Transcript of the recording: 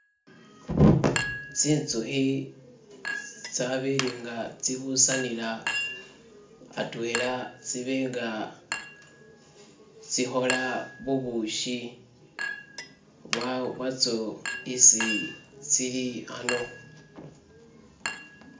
Tsi'nzukhi tsabela nga tsibusanila atwela tsi'benga tsi'khola bubushi bwatso isi tsili ano.